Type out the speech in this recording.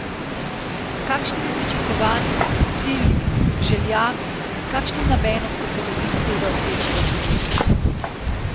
S kašnimi pričakovanji, cilji, željami, s kakšnim namenom ste se lotili tega osebnega projekta?